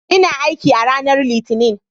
Ina aiki a ranar Litinin.